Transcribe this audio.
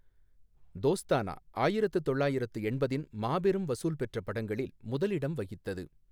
தோஸ்தானா ஆயிரத்து தொள்ளாயிரத்து எண்பதின் மாபெரும் வசூல் பெற்ற படங்களில் முதலிடம் வகித்தது.